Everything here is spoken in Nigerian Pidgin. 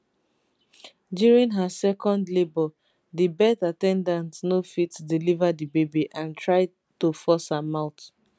during her second labour di birth at ten dant no fit deliver di baby and try to force am out